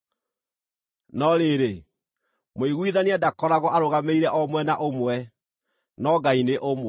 No rĩrĩ, mũiguithania ndakoragwo arũgamĩrĩire o mwena ũmwe; no Ngai nĩ ũmwe.